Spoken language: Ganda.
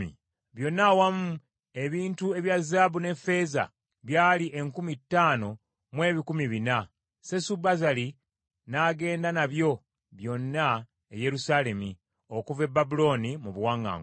Byonna awamu ebintu ebya zaabu ne ffeeza byali enkumi ttaano mu ebikumi bina (5,400). Sesubazzali n’agenda nabyo byonna e Yerusaalemi okuva e Babulooni mu buwaŋŋanguse.